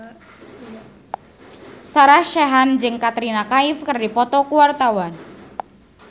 Sarah Sechan jeung Katrina Kaif keur dipoto ku wartawan